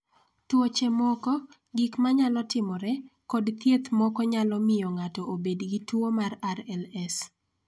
Tuoche moko, gik ma nyalo timore, kod thieth moko nyalo miyo ng�ato obed gi tuo mar RLS.